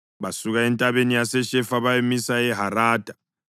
Basuka eNtabeni yaseShefa bayamisa eHarada.